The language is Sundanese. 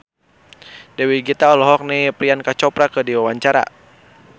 Dewi Gita olohok ningali Priyanka Chopra keur diwawancara